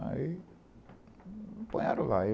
Aí me lá.